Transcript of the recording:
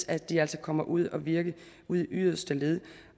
at de altså kommer ud at virke i yderste led